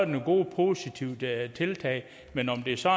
nogle gode og positive tiltag men om det så